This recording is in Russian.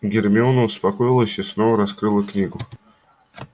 гермиона успокоилась и снова раскрыла книгу